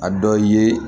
A dɔ ye